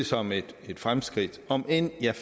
som et fremskridt om end jeg